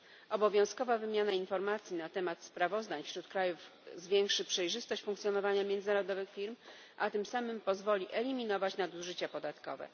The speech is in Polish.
Obowiązkowa wymiana informacji na temat sprawozdań wśród krajów zwiększy przejrzystość funkcjonowania międzynarodowych firm, a tym samym pozwoli eliminować nadużycia podatkowe.